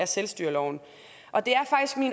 selvstyreloven og det